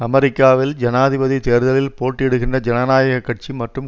அமெரிக்காவில் ஜனாதிபதி தேர்தலில் போட்டியிடுகின்ற ஜனநாயக கட்சி மற்றும்